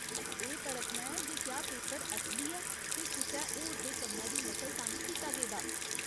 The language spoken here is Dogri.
एह् परखना ऐ जे क्या पेपर असली ऐ ते कुसै होर दे कम्मै दी नकल तां निं कीता गेदा ऐ।